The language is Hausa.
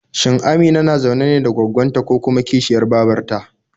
Shin Amina na zaune ne da gwaggon ta ko kuma kishiyar babar ta?